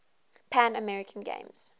pan american games